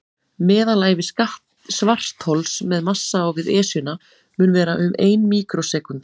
Meðalævi svarthols með massa á við Esjuna mun vera um ein míkrósekúnda.